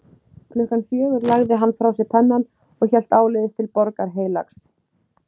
Klukkan fjögur lagði hann frá sér pennann og hélt áleiðis til Borgar Heilags